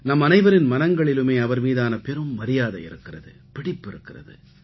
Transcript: நம்மனைவரின் மனங்களிலுமே அவர் மீதான பெரும் மரியாதை இருக்கிறது பிடிப்பு இருக்கிறது